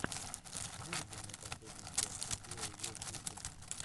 выведи мне последнюю часть биоволквикей